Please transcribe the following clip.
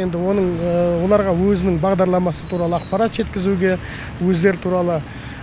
енді оның оларға өзінің бағдарламасы туралы ақпарат жеткізуге өздері туралы